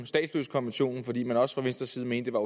statsløsekonventionen fordi man også fra venstres side mener